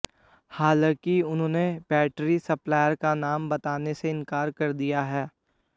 हालांकि उन्होंने battery supplier का नाम बताने से इंकार कर दिया है